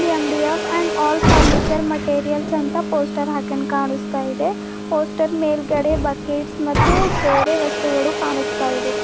MDF and all furniture materials ಅಂತ poster ಹಾಕಂಗ್ ಕಾಣಿಸ್ತಿದೆ ಪೋಸ್ಟರ್ ಮೇಲ್ಗಡೆ ಬಕೆಟ್ಸ್ ಮತ್ತು ಬೇರೆ ವಸ್ತುಗಳು ಕಾಣಿಸ್ತಾ ಇದೆ.